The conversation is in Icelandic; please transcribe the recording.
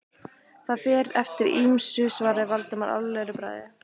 Það fer eftir ýmsu- svaraði Valdimar alvarlegur í bragði.